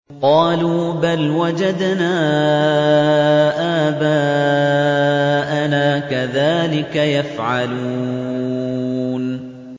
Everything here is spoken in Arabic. قَالُوا بَلْ وَجَدْنَا آبَاءَنَا كَذَٰلِكَ يَفْعَلُونَ